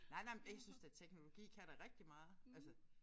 Nej nej og jeg synes da teknologi kan da rigtig meget altså